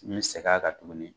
N bɛ segin a kan tuguni.